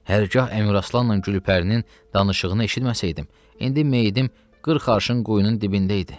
Hərgah Əmiraslanla Gülpərinin danışığını eşitməsəydim, indi meyitim qırx arşın quyunun dibindəydi.